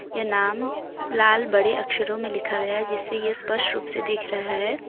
ये नाम लाल बड़े अक्षरों में लिखा गया जिससे यह स्पष्ट रूप से दिख रहा है।